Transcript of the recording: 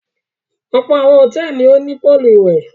Ọ̀pọ̀ àwọn hòtẹ́ẹ́lì ni ó ní póólù ìwẹ̀.